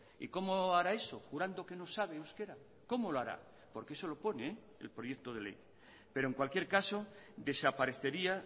y cómo hará eso jurando que no sabe euskera cómo lo hará porque eso lo pone el proyecto de ley pero en cualquier caso desaparecería